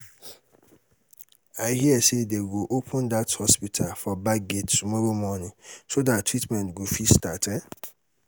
i hear say um dey go um open dat hospital for back gate tomorrow morning so dat treatment go fit start um